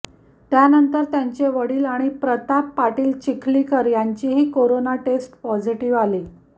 त्यानंतर त्यांचे वडील आणि प्रताप पाटील चिखलीकर यांचीही कोरोना टेस्ट पॉझिटिव्ह आली